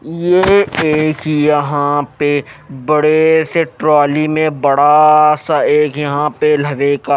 ये एक यहां पे बड़े से ट्रॉली में बड़ा सा एक यहां पे लोहे का--